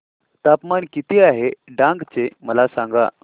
तापमान किती आहे डांग चे मला सांगा